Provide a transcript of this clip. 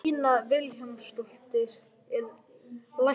Lína Vilhjálmsdóttir er læknir.